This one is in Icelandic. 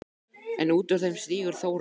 En út úr þeim stígur Þórarinn.